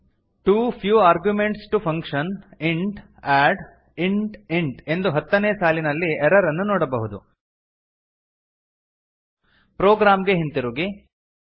two few arguments to function int add int int ಎಂದು ಹತ್ತನೇ ಸಾಲಿನಲ್ಲಿ ಎರರ್ ಅನ್ನು ನೋಡಬಹುದು ಪ್ರೊಗ್ರಾಮ್ ಗೆ ಹಿಂತಿರುಗಿ